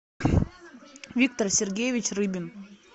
виктор сергеевич рыбин